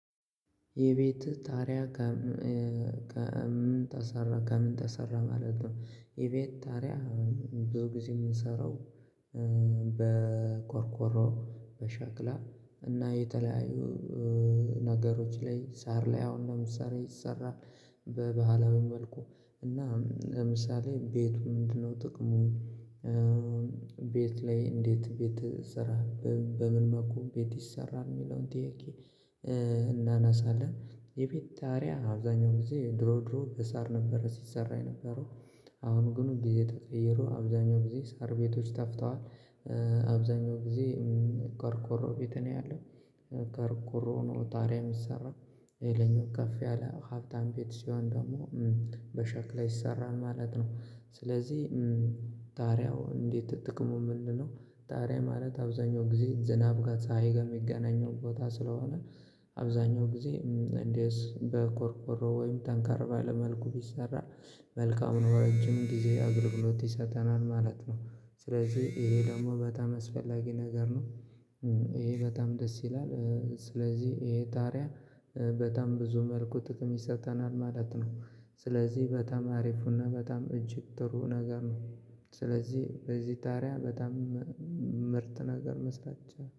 የቤት ጣሪያ ከምን ተሰራ ከምን ተሰራ ማለት ነው የቤት ጣሪያ ብዙ ጊዜ የምንሰራው በቆርቆሮ በሻክላ እና የተለያዩ ነገሮች ላይ ሳር ላይ አሁን ለምሳሌ ይሰራል በባህላዊ መልኩ እና ለምሳሌ ቤቱ ምንድነው ጥቅሙ? ቤት ላይ እንዴት ቤት እሰራለሁ በምን መለኩ ቤት ይሰራል የሚለውን ጥያቄ? እናነሳለን የበት ጣሪያ አብዛኛው ጊዜ ድሮ ድሮ በሳር ነበረ ሲሰራ የነበረው አሁን ግን ጊዜ ተቀይሮ አብዛኛው ጊዜ ሳር ቤቶች ተፍተዋል። አብዛኛው ጊዜ ቆርቆሮ ቤት ነው ያለው ቆርቆሮ ነው ጣሪያ የሚሰራ። ሌላኛው ከፍ ያለ ሀብታም ቤት ሲሆን ደግሞ በሸክላ ይሰራል ማለት ነው። ስለዚህ ጣሪያው እንዴት ጥቅሙ ምንድነው? ጣሪያ ማለት አብዛኛው ጊዜ ዝናብ ጋር ፅሕይ ጋር የሚገናኘው ቦታ ስለሆነ። አብዛኛው ጊዜ እንዲህስ በቆርቆሮ ወይም ጠንካር ባለ መልኩ ቢሰራ መልካም ነው ረጅም ጊዜ አግልግሎት ይሰጠናል ማለት ነው። ስለዚህ ይሄ ደግሞ በጣም አስፈላጊ ነገር ነው። ይሄ በጣም ደስ ይላል። ስለዚህ ይሄ ጣሪያ በጣም ብዙ መልኩ ጥክም ይሰጥተናል ማለት ነው። ስለዚህ በጣም አሪፉና በጣም እጅግ ጥሩ ነገር ነው። ስለዚህ በዚህ ጣሪያ በጣም ምርጥ ነገር መስራች